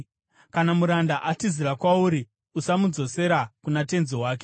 Kana muranda atizira kwauri, usamudzosera kuna tenzi wake.